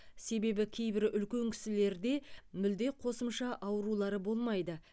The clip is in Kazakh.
себебі кейбір үлкен кісілерде мүлде қосымша аурулары болмайды